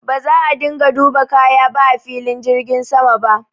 Ba za a dinga duba kaya ba a filin jirgin sama ba.